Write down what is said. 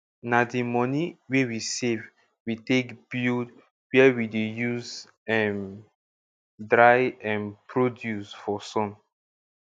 na di moni wey we save we take build where we dey use um dry um produce for sun